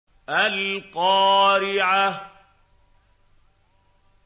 الْقَارِعَةُ